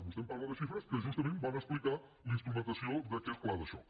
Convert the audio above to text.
vostès em parla de xifres que justament van explicar la instrumentació d’aquest pla de xoc